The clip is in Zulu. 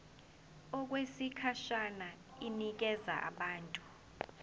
okwesikhashana inikezwa abantu